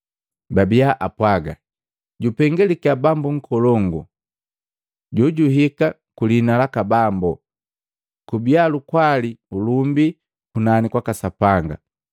babia apwaga, “Jupengaliki Bambu nkolongu jojuhika ku liina laka Bambo! Kubia lukwali nu ulumbi kunani kwaka Sapanga!”